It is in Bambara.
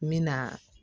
N bɛ na